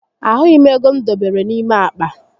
Ahụghi m égo m dobere n'ime àkpà